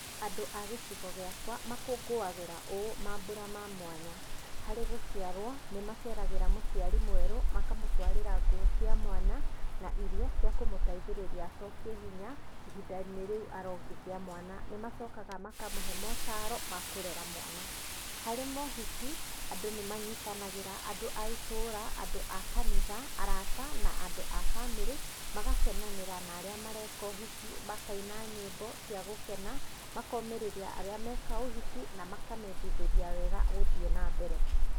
Andũ a gĩcigo gĩakwa makũngũagĩra ũũ maambũra ma mwanya. Harĩ gũciarwo, nĩ maceragĩra mũciari mwerũ makamũtwarĩra nguo cia mwana na irio cia kũmũteithĩrĩria acokie hinya ihinda-inĩ rĩu arongithia mwana, nĩ macokaga makamũhe motaro makũrera mwana. Harĩ mohiki, andũ nĩ manyĩtanagĩra andũ a itũra, andũ a kanitha, arata na andũ a bamĩrĩ magakenanĩra na arĩa mareka ũhiki, makina nyĩmbo cia gũkena, makomĩrĩria arĩa meka ũhiki na makamendithĩria wega gũthiĩ na mbere.